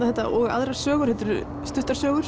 þetta og aðrar sögur þetta eru stuttar sögur